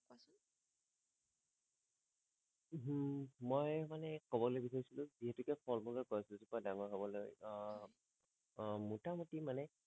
মই মানে কবলে কি কৈছিলো যিহেতুকে ফল মূলৰ গছ গিজোপা ডাঙৰ হবলৈ আহ আহ মোটা মোতি মানে